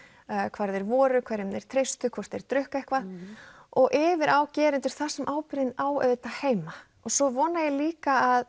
hvar þeir voru hverjum þeir treystu hvort þeir drukku eitthvað og yfir á gerendur þar sem ábyrgðin á auðvitað heima svo vona ég líka að